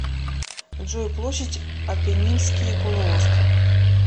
джой площадь аппенинский полуостров